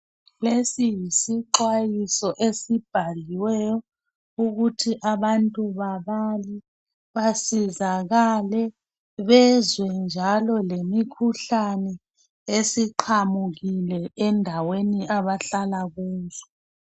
Lesi yisixhwayiso esibhaliweyo ukuthi abantu basizakale bezwe njalo lemikhuhlane esiqhamukile endaweni abahlala kuzo